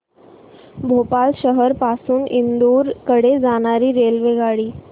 भोपाळ शहर पासून इंदूर कडे जाणारी रेल्वेगाडी